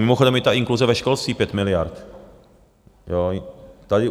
Mimochodem i ta inkluze ve školství 5 miliard.